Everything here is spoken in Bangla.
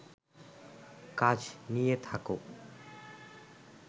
কাজ নিয়ে থাকো